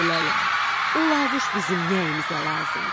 Ayı lələ, uluvuş bizim nəyimizə lazımdı?